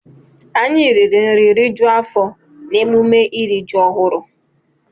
Anyị riri nri rijuo afọ n'emume iri ji ọhụrụ.